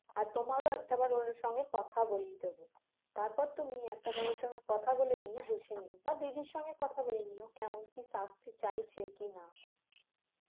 আর তোমার একটাবার ওর সঙ্গে কথা বলিয়ে দেবো তারপর তুমি একটাবার ওর সঙ্গে কথা বলে নিয়ে বুঝে নিয় বা দিদির সঙ্গে কথা বলে নিয় কেমন কি চাচ্ছে চাইছে কি না